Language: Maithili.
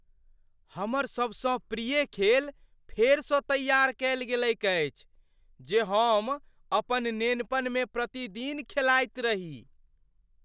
हमर सबसँ प्रिय खेल फेरसँ तैआर कयल गेलैक अछि जे हम अपन नेनपनमे प्रतिदिन खेलाइत रही।